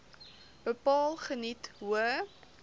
bepaal geniet hoë